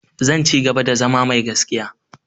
Zan cigaba da zama mai gaskiya.